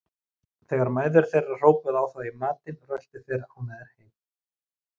Þegar mæður þeirra hrópuðu á þá í matinn röltu þeir ánægðir heim.